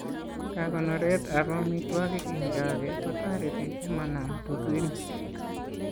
Kakonoret ab amitwogik eng' choge ko toreti komanam tutuinik